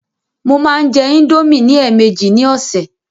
Mo máa ń jẹ indomie ní èèmejì ní ọ̀sẹ̀.